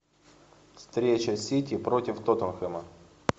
встреча сити против тоттенхэма